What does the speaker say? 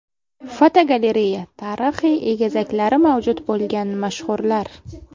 Fotogalereya: Tarixiy egizaklari mavjud bo‘lgan mashhurlar.